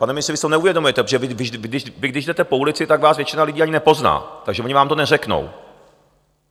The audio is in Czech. Pane ministře, vy to neuvědomujete, protože vy když jdete po ulici, tak vás většina lidí ani nepozná, takže oni vám to neřeknou.